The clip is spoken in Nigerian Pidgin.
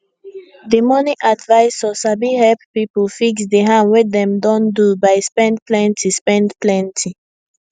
di money advisor sabi help people fix di harm wey dem don do by spend plenty spend plenty